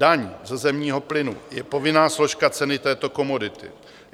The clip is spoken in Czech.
Daň ze zemního plynu je povinná složka ceny této komodity.